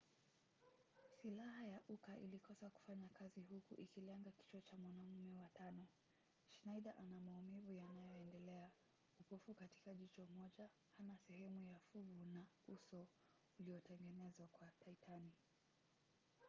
silaha ya uka ilikosa kufanya kazi huku ikilenga kichwa cha mwanamume wa tano. schneider ana maumivu yanayoendelea upofu katika jicho moja hana sehemu ya fuvu na uso uliotengenezwa kwa titani